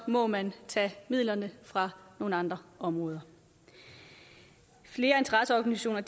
må man tage midlerne fra nogle andre områder flere interesseorganisationer